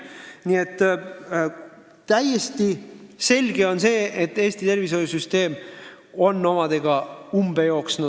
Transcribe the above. Nii et on täiesti selge, et Eesti tervishoiusüsteem on umbe jooksnud.